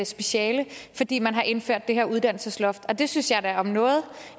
speciale fordi man har indført det her uddannelsesloft og det synes jeg da om noget